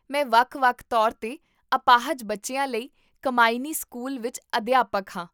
ਮੈਂ ਵੱਖ ਵੱਖ ਤੌਰ 'ਤੇ ਅਪਾਹਜ ਬੱਚਿਆਂ ਲਈ ਕੰਮਾਇਨੀ ਸਕੂਲ ਵਿੱਚ ਅਧਿਆਪਕ ਹਾਂ